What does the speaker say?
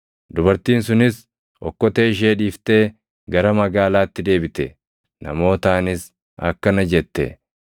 Dubartiin sunis okkotee ishee dhiiftee gara magaalaatti deebite; namootaanis akkana jette;